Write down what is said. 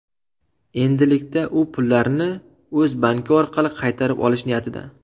Endilikda u pullarni o‘z banki orqali qaytarib olish niyatida.